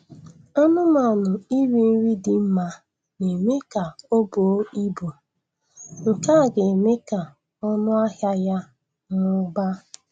Anụmanụ iri nri dị mma na-eme ka o buo ibu, nke a ga-eme ka ọnụ ahịa ya mụbaa